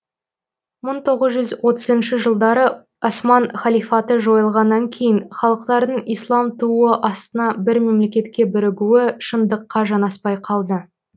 мың тоғыз жүз отызыншы жылдары осман халифаты жойылғаннан кейін халықтардың ислам туы астына бір мемлекетке бірігуі шындыққа жанаспай қалды